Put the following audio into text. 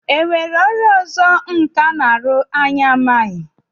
E nwere ọrụ ọzọ nkà na-arụ anyị na-amaghị?